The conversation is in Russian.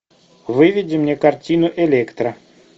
выведи мне картину электро